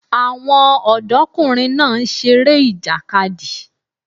Àwọn ọ̀dọ́kùnrin náà ń seré ìjàkadì